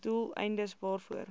doel eindes waarvoor